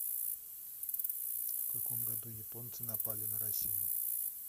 в каком году японцы напали на россию